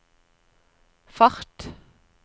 fart